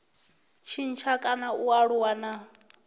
tshintsha kana a aluwa na